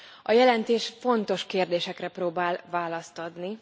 A jelentés fontos kérdésekre próbál választ adni.